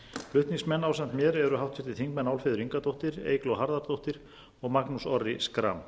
flutningsmenn ásamt mér eru háttvirtir þingmenn álfheiður ingadóttir eygló harðardóttir og magnús orri schram